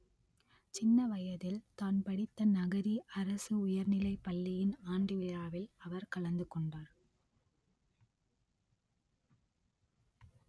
சின்ன வயதில் தான் படித்த நகரி அரசு உயர்நிலைப் பள்ளியின் ஆண்டுவிழாவில் அவர் கலந்து கொண்டார்